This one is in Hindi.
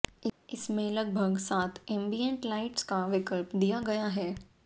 इसमें लगभग सात एम्बिएंट लाइट्स का विकल्प दिया गया है